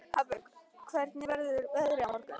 Hafberg, hvernig verður veðrið á morgun?